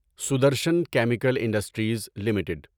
Sudarshan chemical industries limited